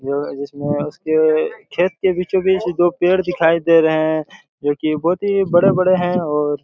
जो जिसमे उसके खेत के बीचो- बीच दो पेड़ दिखाई दे रहे हैं जो की बहुत ही बड़े- बड़े हैं और